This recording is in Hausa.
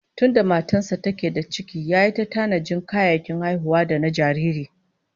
Tunda matar sa take da ciki yayi ta tanajin kayayyakin haihuwa da na jariri